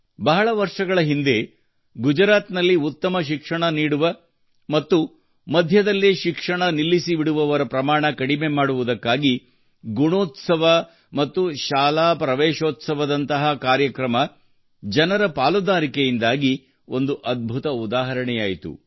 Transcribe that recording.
ಬಹಳ ವರ್ಷಗಳ ಹಿಂದೆ ಗುಜರಾತ್ ನಲ್ಲಿ ಉತ್ತಮ ಶಿಕ್ಷಣ ನೀಡುವ ಮತ್ತು ಅರ್ಧದಲ್ಲೇ ಶಿಕ್ಷಣ ನಿಲ್ಲಿಸಿಬಿಡುವವರ ಪ್ರಮಾಣ ಕಡಿಮೆ ಮಾಡುವುದಕ್ಕಾಗಿ ಗುಣೋತ್ಸವ ಮತ್ತು ಶಾಲಾ ಪ್ರವೇಶೋತ್ಸವ ದಂತಹ ಕಾರ್ಯಕ್ರಮ ಜನರ ಪಾಲುದಾರಿಕೆಯಿಂದಾಗಿ ಒಂದು ಅದ್ಭುತ ಉದಾಹರಣೆಯಾಯಿತು